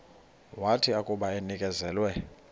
wathi akuba enikezelwe